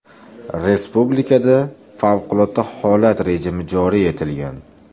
Respublikada favqulodda holat rejimi joriy etilgan.